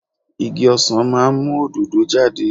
Igi ọsàn máa ń mú òdòdó jáde.